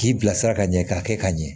K'i bilasira ka ɲɛ k'a kɛ ka ɲɛ